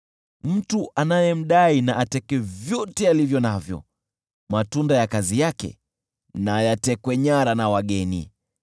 Mtu anayemdai na ateke vyote alivyo navyo, matunda ya kazi yake yatekwe nyara na wageni.